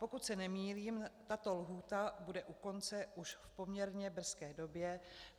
Pokud se nemýlím, tato lhůta bude u konce už v poměrně brzké době.